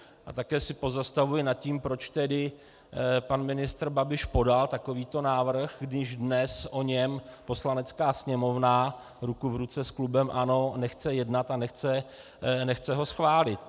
A také se pozastavuji nad tím, proč tedy pan ministr Babiš podal takovýto návrh, když dnes o něm Poslanecká sněmovna ruku v ruce s klubem ANO nechce jednat a nechce ho schválit.